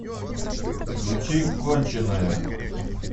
включи конченная